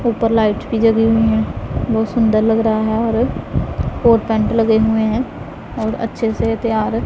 ऊपर लाइट भी जगी हुई है बहुत सुंदर लग रहा है और कोर्ट पैंट लगे हुए है और अच्छे से तैयार --